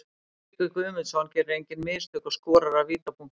Tryggvi Guðmundsson gerir engin mistök og skorar af vítapunktinum.